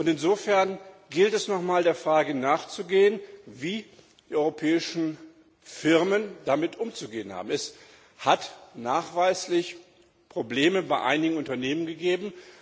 Insofern gilt es noch einmal der Frage nachzugehen, wie die europäischen Firmen damit umzugehen haben. Es hat nachweislich Probleme bei einigen Unternehmen gegeben.